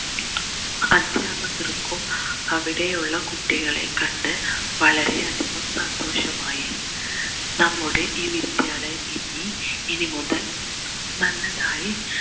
അദ്ധ്യാപകർക്കും അവിടെയുള്ള കുട്ടികളെ കണ്ട് വളരെ അധികം സന്തോഷമായി നമ്മളുടെ ഈ വിദ്യാലയം ഇനി ഇനിമുതൽ നല്ലതായി